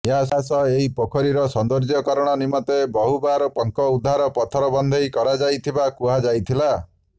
ଏହାସହ ଏହି ପୋଖରୀର ସୌନ୍ଦର୍ଯ୍ୟକରଣ ନିମନ୍ତେ ବହୁବାର ପଙ୍କ ଉଦ୍ଧାର ପଥର ବନ୍ଧେଇ କରାଯାଇଥିବା କୁହାଯାଇଥିଲା